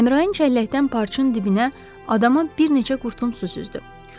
Əmraənin cəlləkdən parçın dibinə adama bir neçə qurtum su süzdü.